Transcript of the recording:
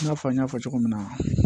I n'a fɔ n y'a fɔ cogo min na